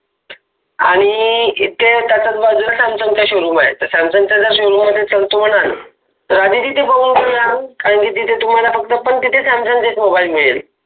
आणी इथे त्याच्याच बाजुला सॅमसंग चा showroom आहे तर सॅमसंग चा जो showroom मध्ये चलतो म्हनाल तर आधि तिथे बघुन घेऊया कारण कि तिथे तुम्हाला फक्त पण तिथे सॅमसंग चेहे च मोबाइल मिळेल